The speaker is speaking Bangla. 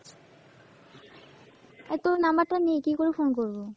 আরে তোর number টা নেই কীকরে phone করব?